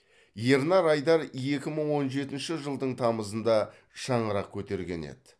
ернар айдар екі мың он жетінші жылдың тамызында шаңырақ көтерген еді